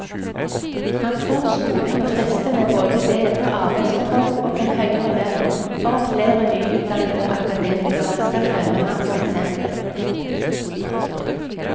Han tror skolen må friste med både bedre arbeidsforhold og en høyere lønn for at flere nyutdannede akademikere skal følge hans eksempel.